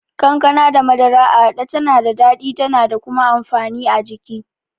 Kankana da madara a haɗe tana da daɗi da kuma amfani a jiki.